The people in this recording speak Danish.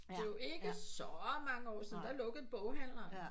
Det er jo ikke så mange år siden der lukkede boghandleren